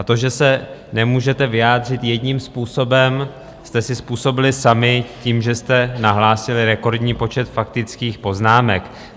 A to, že se nemůžete vyjádřit jedním způsobem, jste si způsobili sami tím, že jste nahlásili rekordní počet faktických poznámek.